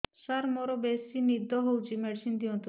ସାର ମୋରୋ ବେସି ନିଦ ହଉଚି ମେଡିସିନ ଦିଅନ୍ତୁ